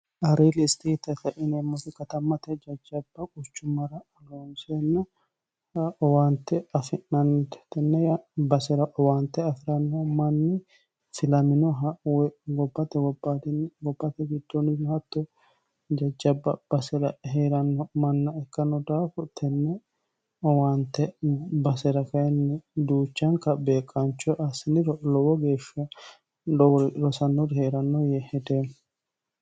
ariili istetete inemmosi katammate jajjaba quchummara aloonseennoh owaante afi'nannie tenney basera owaante afi'ranno manni filaminoha woy gotewonnigote gitdniri hatto jajjabba base'ra hee'ranno manna ikkanno daaku tenne owaante basera kinni duuchaanka beeqaancho assiniro lowo geeshsha lowori rosannori hee'ranno yee hedeemmo